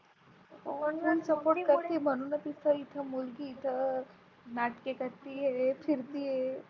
हो Support करते म्हणूनच इथ इथ मुलगी इथ नाटके करती आहे फिरती आहे.